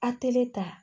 Atɛli ta